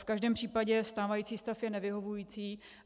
V každém případě stávající stav je nevyhovující.